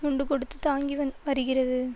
முண்டு கொடுத்து தாங்கிவந்த் வருகிறது